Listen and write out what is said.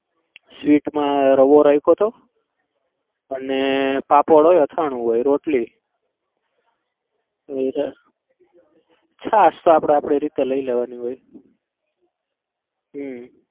sweet મા રવો રાખ્યો હતો અને પાપડ હોય અથાણું હોય રોટલી છાસ તો આપડે આપડી રીતે લઇ લેવાની હોય હમ